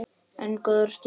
En góður stíll!